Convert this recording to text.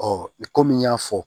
komi n y'a fɔ